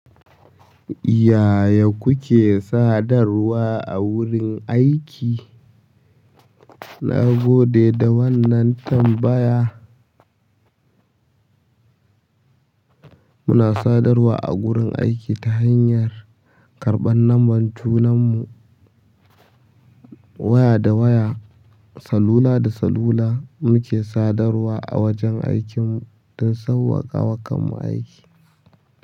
Yaya kuke sadarwa a wurin aiki? Na gode da wannan tambaya. Muna sadarwa a gurin aiki ta hanyar karɓar lambar junan mu, waya da waya, salula da salula muke sadarwa a wajen aikin mu don sauƙaƙa wa kanmu aiki.